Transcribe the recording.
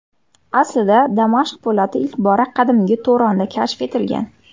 Aslida Damashq po‘lati ilk bora qadimgi Turonda kashf etilgan.